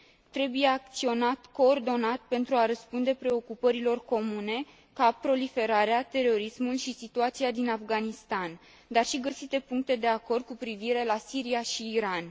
Trebuie acționat coordonat pentru a răspunde preocupărilor comune, cum ar fi proliferarea terorismului și situația din Afganistan, dar și găsite puncte de acord cu privire la Siria și Iran.